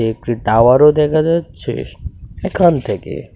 একটি টাওয়ার ও দেখা যাচ্ছে এখান থেকে.